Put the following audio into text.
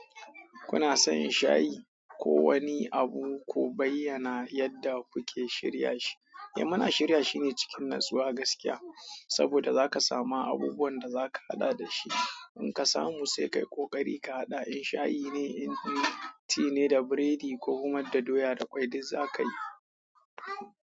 Kuna son shayi ko wani abu, ku bayyana yadda kuke shirya shi? Eh, muna shirya shi ne cikin natsuwa gaskiya, saboda zaka sama abubuwan da zaka haɗa da shi. In ka samu sai kayi ƙoƙari ka haɗa in shayi ne, in ti ne da biredi ko kuma da doya da ƙwai duk zaka yi.